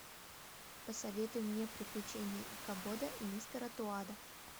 посоветуй мне приключения икабода и мистера тоада